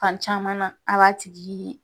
Fan caman al'a tigi ye